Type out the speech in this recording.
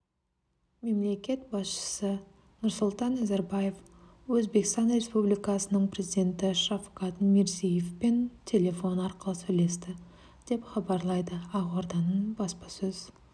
мемлекет басшысы нұрсұлтан назарбаев өзбекстан республикасының президенті шавкат мирзиевпен телефон арқылы сөйлесті деп хабарлайды ақорданың баспасөз